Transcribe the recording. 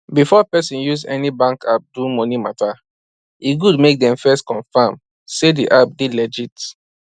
before person use any bank app do money matter e good make dem first confirm say the app dey legit